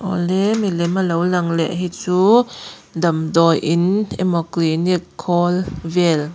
awle milem a lo lang leh hi chuu damdawi in emaw clinic khawl vel--